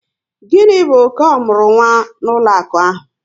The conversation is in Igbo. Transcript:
Gịni bụ ọke omurunwa n'ụlọaku ahụ?